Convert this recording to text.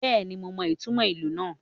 Bẹ́ẹ̀ni, mo mọ ìtumò ìlù náà